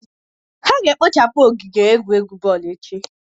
a ga-ekpochapu ogige egwuregwu boolu echi